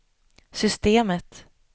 systemet